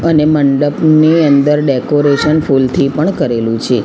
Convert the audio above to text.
અને મંડપની અંદર ડેકોરેશન ફૂલથી પણ કરેલું છે.